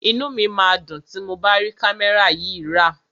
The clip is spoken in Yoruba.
Inú mi máa dùn tí mo bá rí kámẹ́rà yìí rà.